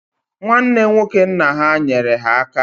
Nwanne nwoke nna ha nyere ha aka